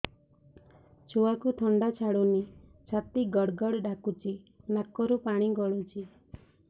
ଛୁଆକୁ ଥଣ୍ଡା ଛାଡୁନି ଛାତି ଗଡ୍ ଗଡ୍ ଡାକୁଚି ନାକରୁ ପାଣି ଗଳୁଚି